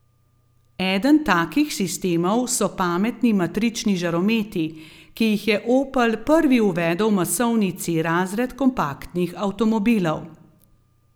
Eden takih sistemov so pametni matrični žarometi, ki jih je Opel prvi uvedel v masovni C razred kompaktnih avtomobilov.